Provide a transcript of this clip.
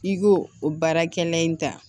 I k'o o baarakɛla in ta